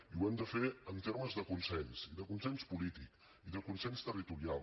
i ho hem de fer en termes de consens i de consens polític i de consens territorial